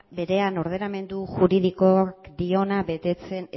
berean ordenamendu juridiko diona betetzen